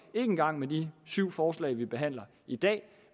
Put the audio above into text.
engang med de syv forslag vi behandler i dag